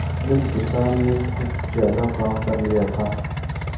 उस दिन किसान ने कुछ ज्यादा काम कर लिया था